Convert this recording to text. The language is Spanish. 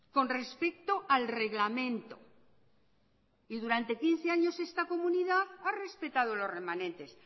con respecto al reglamento y durante quince años esta comunidad ha respetado los remanentes